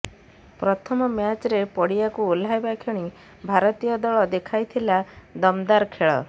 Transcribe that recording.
ପ୍ରଥମ ମ୍ୟାଚରେ ପଡିଆକୁ ଓହ୍ଲାଇବା କ୍ଷଣି ଭାରତୀୟ ଦଳ ଦେଖାଇଥିଲା ଦମଦାର ଖେଳ